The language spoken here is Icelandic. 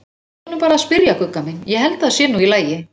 Leyfðu honum bara að spyrja, Gugga mín, ég held að það sé nú í lagi.